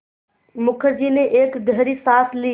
मुखर्जी ने एक गहरी साँस ली